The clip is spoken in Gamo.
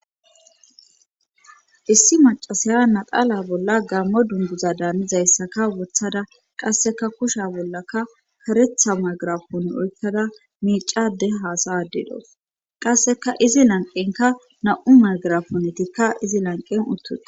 issi macasaya naxala bolla gammo dunguza daamizayssaka wothada qasseka kusha bollaka karetha magarafun oykkada miicade haasa ade dawus qasseka izi lanqenka na7u magarafunetikka izi lanqen uttuse